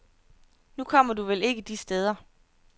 Nu kommer du vel ikke de steder.